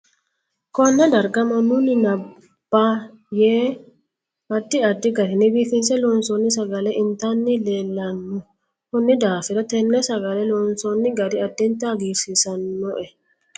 KOnne darga manun nabbaaa yee addi addi garinni biifinse loonsooi sagale itani leelanno konni daafira tenne sagale loonsooni garri addinta hagiirsiisinoe